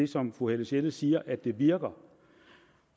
som fru helle sjelle siger at det virker